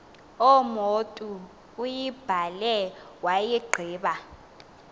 umotu uyibhale wayigqiba